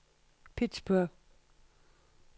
Pittsburgh